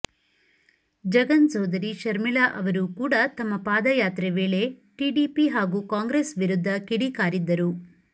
ಜಗನ್ ಸೋದರಿ ಶರ್ಮಿಳಾ ಅವರು ಕೂಡಾ ತಮ್ಮ ಪಾದಯಾತ್ರೆ ವೇಳೆ ಟಿಡಿಪಿ ಹಾಗೂ ಕಾಂಗ್ರೆಸ್ ವಿರುದ್ಧ ಕಿಡಿ ಕಾರಿದ್ದರು